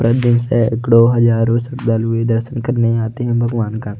प्रद दिन से सैकड़ों हजारों श्रद्धालुए दर्शन करने आते है भगवान का--